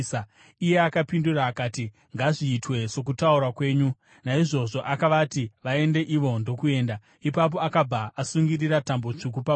Iye akapindura akati, “Ngazviitwe sokutaura kwenyu.” Naizvozvo akavati vaende ivo ndokuenda. Ipapo akabva asungirira tambo tsvuku pawindo.